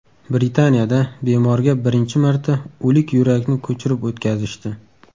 Britaniyada bemorga birinchi marta o‘lik yurakni ko‘chirib o‘tkazishdi.